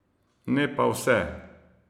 Ne pa vse!